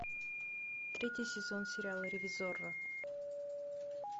третий сезон сериала ревизорро